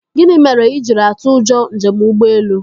Gịnị mere i jiri atụ ụjọ njem ụgbọelu?